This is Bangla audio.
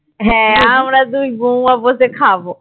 হ্যাঁ আমরা দুই বৌমা বসে খাবো